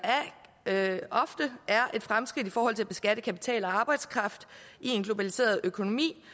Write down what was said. ofte er et fremskridt i forhold til at beskatte kapital og arbejdskraft i en globaliseret økonomi